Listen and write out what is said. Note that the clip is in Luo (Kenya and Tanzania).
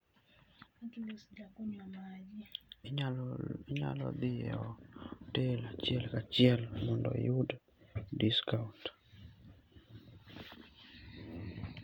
Inyalo dhi e otel achiel kachiel mondo iyud discount.